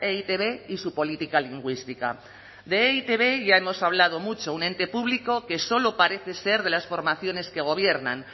e i te be y su política lingüística de e i te be ya hemos hablado mucho un ente público que solo parece ser de las formaciones que gobiernan